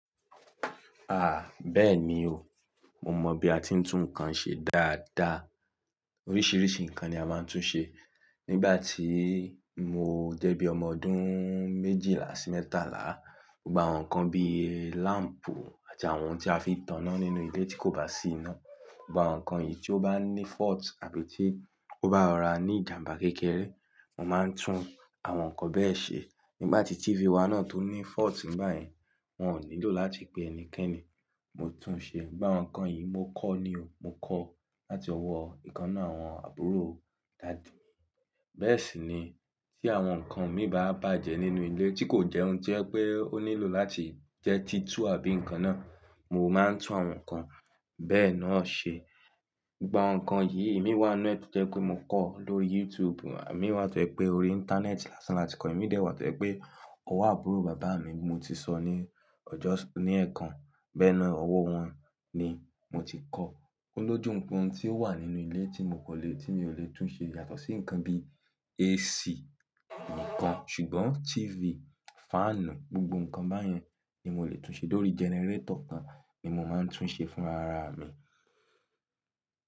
Ah! Bẹ́ẹ̀ni o, mo mọ bí a ti ń tún nǹkan ṣe dáadáa. Oríṣiríṣi nǹkan ni a máa ń tún ṣe. Nígbà tí mo jẹ́ bí ọmọ ọdún méjìlá sí mẹ́tàlá, gbogbo àwọn nǹkan bí i lamp àti àwọn ohun tí a fi ń taná nínú ilé tí kò bá sí iná, gbogbo àwọn nǹkan yìí tí ó bá ní fault àbí tí ó bá ra ní ìjàmbá kékeré, mo máa ń tún àwọn nǹkan bẹ́ẹ̀ ṣe. Nígbà tí TV wa náà tó ní fault nígbà yẹn, wọn ò nílò láti pe ẹnikẹ́ni, mo tún un ṣe. Gba àwọn nǹkan yìí, mo kọ́ ni o. Mo kọ́ láti ọwọ́ ìkan náà, àwọn àbúrò daddy mi. Bẹ́ẹ̀ sì ni tí àwọn nǹkan mi bá bàjẹ́ nínú ilé tí kò jẹ́ ohun tí ẹ pé ó nílò láti jẹ́ títu àbí nǹkan náà, mo máa ń tún àwọn nǹkan bẹ́ẹ̀ náà ṣe. Gba àwọn nǹkan yìí, èmi wá nu ẹ́ titẹ́ pé mo kọ́ lóri YouTube, àmi wá tẹ́ pé orí Íńtánẹ́ẹ̀tì lásán láti kọ́, èmi dẹ̀ wá tẹ́ pé ọwọ́ àbúrò bàbá mi tí mo ti sọ ní ọjọ́ ní ẹ̀ẹ̀kan, bẹ́ẹ̀ ná à lọ́wọ́ wọn ni mo ti kọ́. Ó lójú nǹkan tí ó wà nínú ilé tí mo kò le, tí mi ò le tún ṣe yàtọ̀ sí nǹkan bí i AC nìkan. Ṣùgbọ́n TV, fáànù, gbogbo nǹkan báyẹn ni mo le tún ṣe. Lórí gẹnẹrétọ̀ kan ni mo máa ń tún ṣe fún ara mi.